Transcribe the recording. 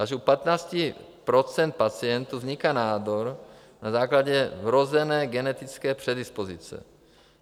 Až u 15 % pacientů vzniká nádor na základě vrozené genetické predispozice.